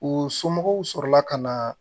U somɔgɔw sɔrɔla ka na